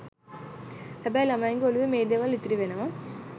හැබැයි ළමයින්ගේ ඔළුවේ මේ දේවල් ඉතිරි වෙනවා.